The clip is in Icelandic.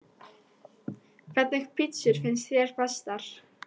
Hvernig pizzur finnst þér bestar?